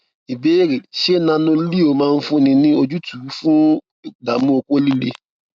ìbéèrè ṣé nanoleo máa fúnni ní ojútùú fun idamu oko lile